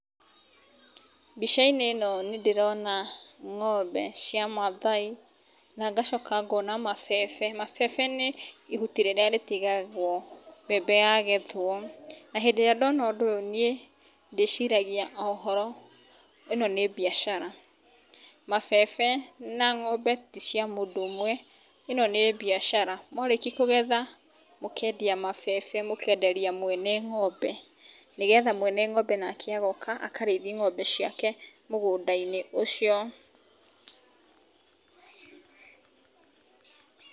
Mbicainĩ ĩno nĩ ndĩrona ng'ombe cia Maathai na ngacoka ngona mabebe. Mabebe nĩ ihuti rĩrĩa rĩtigagwo mbembe yagethwo, na hĩndĩ ĩrĩa ndona ũndũ ũyũ nĩ ndĩciragia o ũhoro, ĩno nĩ mbiacara. Mabebe na ng'ombe ti cia mũndũ ũmwe, ĩno nĩ mbiacara. Mwarĩki kũgetha mũkendia mabebe, mũkenderia mwene ng'ombe nĩ getha mwene ng'ombe nake agoka akarĩithi ng'ombe ciake mũgũnda-inĩ ũcio.